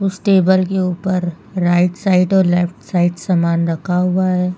उस टेबल के ऊपर राइट साइड और लेफ्ट साइड समान रखा हुआ है।